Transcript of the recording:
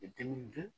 I dimin'i dun